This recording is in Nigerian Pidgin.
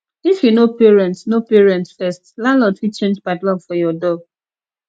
if you no pay rent no pay rent first landlord fit change padlock for your door